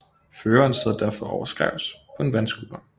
Føreren sidder derfor overskrævs på en vandscooter